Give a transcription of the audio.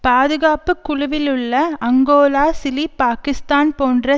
பாதுகாப்பு குழுவிலுள்ள Angola Chile Pakistan போன்ற